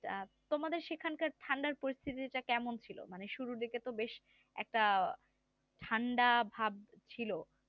তোমাদের সেখানকার ঠান্ডার পরিস্থিত টা কেমন ছিল মানে শুরুর দিক বেশ একটা ঠান্ডা ভাব ছিল